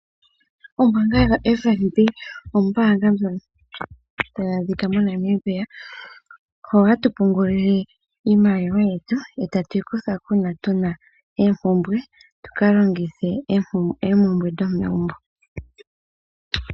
Ombaanga yoFNB ombaanga ndjono tayi adhika moNamibia , hoka ha tu pungula iimaliwa yetu e ta tu yi kuthako uuna tu na oompumbwe, tu ka longithe moompumbwe dhomegumbo.